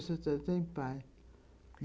A senhora está está em paz.